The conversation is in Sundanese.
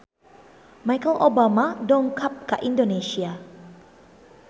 Michelle Obama dongkap ka Indonesia